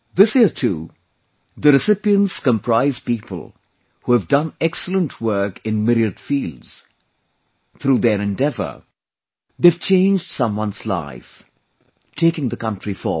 This year too, the recipients comprise people who have done excellent work in myriad fields; through their endeavour, they've changed someone's life, taking the country forward